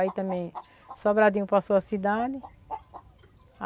Aí também, Sobradinho passou a cidade.